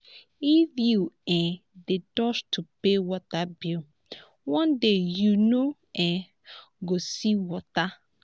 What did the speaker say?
if you um dey dodge to pay water bill one day you no um go see water.